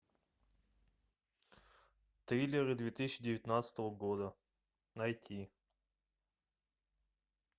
триллеры две тысячи девятнадцатого года найти